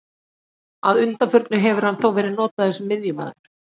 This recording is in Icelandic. Að undanförnu hefur hann þó verið notaður sem miðjumaður.